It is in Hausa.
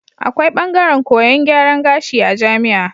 Akwai bangaran koyan gyaran kashi a jamia